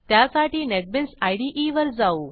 त्यासाठी नेटबीन्स इदे वर जाऊ